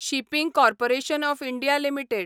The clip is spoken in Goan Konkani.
shipping corporation of India limited